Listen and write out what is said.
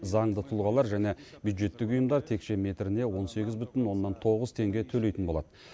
заңды тұлғалар және бюджеттік ұйымдар текше метріне он сегіз бүтін оннан тоғыз теңге төлейтін болады